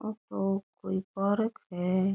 ओ तो कोई पार्क है।